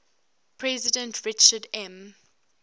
president richard m